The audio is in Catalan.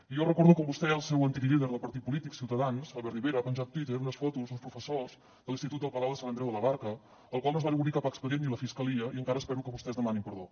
i jo recordo com vostè i el seu antic líder del partit polític ciutadans albert rivera va penjar a twitter unes fotos d’uns professors de l’institut el palau de sant andreu de la barca als quals no va obrir cap expedient ni la fiscalia i encara espero que vostès demanin perdó